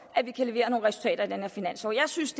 at vi kan levere nogle resultater i den her finanslov jeg synes